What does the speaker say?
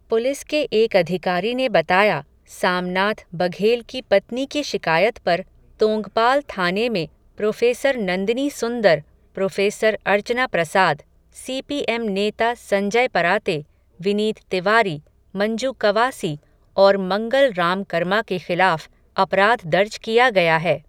Police के एक अधिकारी ने बताया, सामनाथ बघेल की पत्नी की शिकायत पर, तोंगपाल थाने में, प्रोफ़ेसर नंदिनी सुन्दर, प्रोफ़ेसर अर्चना प्रसाद, सीपीएम नेता संजय पराते, विनीत तिवारी, मंजू कवासी, और मंगल राम कर्मा के ख़िलाफ़, अपराध दर्ज किया गया है.